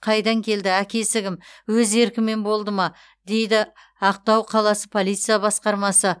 қайдан келді әкесі кім өз еркімен болды ма дейді ақтау қаласы полиция басқармасы